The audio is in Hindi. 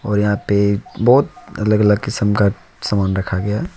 और यहां पे बहुत अलग अलग किस्म का सामान रखा गया है।